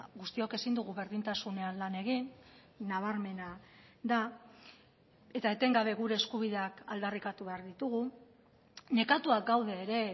guztiok ezin dugu berdintasunean lan egin nabarmena da eta etengabe gure eskubideak aldarrikatu behar ditugu nekatuak gaude ere